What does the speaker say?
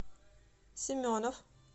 семенов